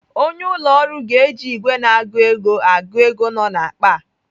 Onye ụlọ ọrụ ga-eji ìgwè na-agụ ego agụ ego nọ n'akpa a.